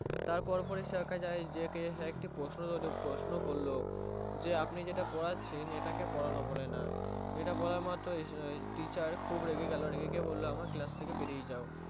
তারপর পড়ি সে প্রশ্ন করলো যে আপনি যেটা পড়েছেন ইটা কে পোড়ানো বলেন ইটা বলা মাত্রই সে Teacher খুব রেগে গেলো রেগে বললো আমার Class থেকে বেরিয়ে যায়